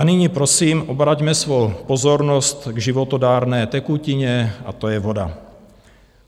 A nyní prosím obraťme svou pozornost k životadárné tekutině, a to je voda.